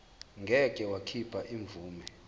ngeke wakhipha imvume